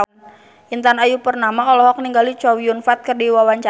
Intan Ayu Purnama olohok ningali Chow Yun Fat keur diwawancara